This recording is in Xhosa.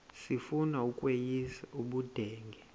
sifuna ukweyis ubudenge